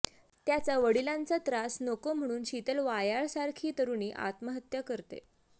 त्याचा वडिलांचा त्रास नको म्हणून शीतल वायाळसारखी तरुणी आत्महत्या करते